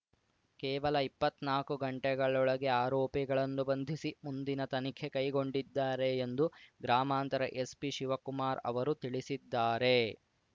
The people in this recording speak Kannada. ಕೇವಲ ಇಪ್ಪತ್ನಾಕು ಗಂಟೆಗಳೊಳಗೆ ಆರೋಪಿಗಳನ್ನು ಬಂಧಿಸಿ ಮುಂದಿನ ತನಿಖೆ ಕೈಗೊಂಡಿದ್ದಾರೆ ಎಂದು ಗ್ರಾಮಾಂತರ ಎಸ್ಪಿ ಶಿವಕುಮಾರ್ ಅವರು ತಿಳಿಸಿದ್ದಾರೆ